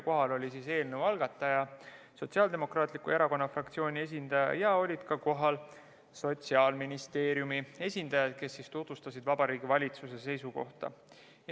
Kohal oli eelnõu algataja, Sotsiaaldemokraatliku Erakonna fraktsiooni esindaja ja kohal olid ka Sotsiaalministeeriumi esindajad, kes tutvustasid Vabariigi Valitsuse seisukohta.